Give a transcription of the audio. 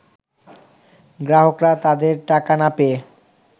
গ্রাহকরা তাদের টাকা না পেয়ে